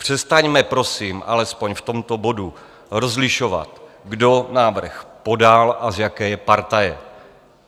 Přestaňme prosím alespoň v tomto bodu rozlišovat, kdo návrh podal a z jaké je partaje.